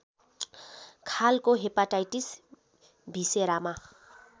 खालको हेपाटाइटिस भिसेरामा